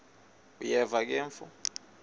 uyeva ke mfo